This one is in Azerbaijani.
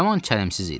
Yaman çəlimsiz idi.